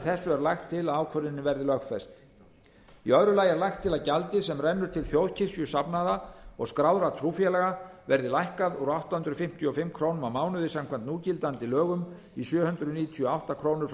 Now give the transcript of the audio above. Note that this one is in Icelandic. er lagt til að ákvörðunin verði lögfest í öðru lagi er lagt til að gjaldið sem rennur til þjóðkirkjusafnaða og skráðra trúfélaga verði lækkað úr átta hundruð fimmtíu og fimm krónur á mánuði samkvæmt núgildandi lögum í sjö hundruð níutíu og átta krónur frá